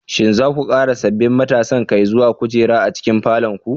Shin za ku ƙara sabbin matasan kai zuwa kujera a cikin falon ku?